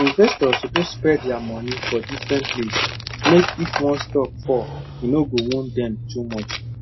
investors suppose spread dia money for different place mek if one stock fall e no go wound dem too much